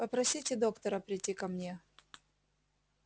попросите доктора прийти ко мне